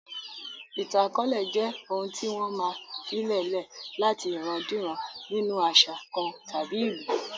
Ìtàn akọọlẹ jẹ́ ohun tí wọ́n máa filè lẹ̀ láti ìran-díran nínu àṣà kan tàbí ìlú